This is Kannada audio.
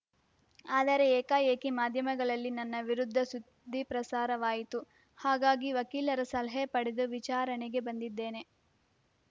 ಆದರೆ ಏಕಾಏಕಿ ಮಾಧ್ಯಮಗಳಲ್ಲಿ ನನ್ನ ವಿರುದ್ಧ ಸುದ್ದಿ ಪ್ರಸಾರವಾಯಿತು ಹಾಗಾಗಿ ವಕೀಲರ ಸಲಹೆ ಪಡೆದು ವಿಚಾರಣೆಗೆ ಬಂದಿದ್ದೇನೆ